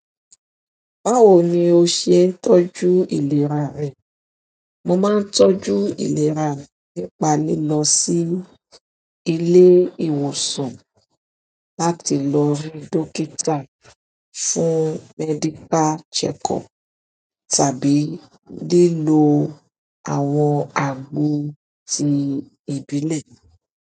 Báwo ni o ṣe ń tọ́jú ìlera rẹ? Mo máa ń tọ́jú ìlera mi ní pa lilo sí ilé ìwòsàn láti lọ rí dókítà fún medical checkup tàbí lílo àwọn àgbo ti ìbílẹ̀.